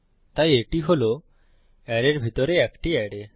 তাই এটি হল অ্যারের ভিতরে একটি অ্যারে